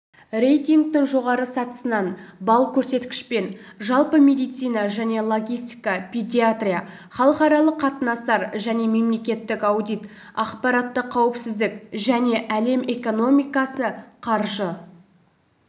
рейтингтің жоғары сатысынан балл көрсеткішпен жалпы медицина және логистика педиатрия халықаралық қатынастар және мемлекеттік аудит ақпараттық қаупсіздік және әлем экономикасы қаржы